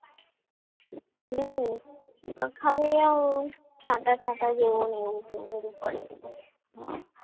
અહીંયા ખાલી છાંટા છાંટા જીવો ને એવો બધું પડ્યા કરે